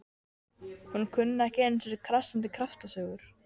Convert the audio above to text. Hún kunni ekki einu sinni krassandi kjaftasögur.